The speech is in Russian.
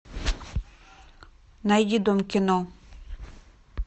найди дом кино